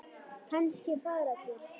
Kannski fara til